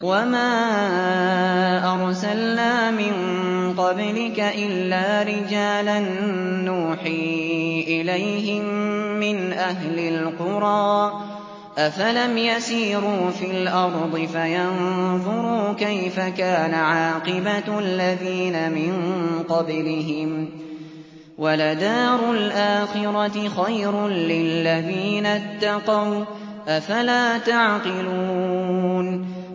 وَمَا أَرْسَلْنَا مِن قَبْلِكَ إِلَّا رِجَالًا نُّوحِي إِلَيْهِم مِّنْ أَهْلِ الْقُرَىٰ ۗ أَفَلَمْ يَسِيرُوا فِي الْأَرْضِ فَيَنظُرُوا كَيْفَ كَانَ عَاقِبَةُ الَّذِينَ مِن قَبْلِهِمْ ۗ وَلَدَارُ الْآخِرَةِ خَيْرٌ لِّلَّذِينَ اتَّقَوْا ۗ أَفَلَا تَعْقِلُونَ